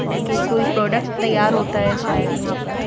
और कि कोई प्रोडक्ट तैयार होता है शायद यहां पर।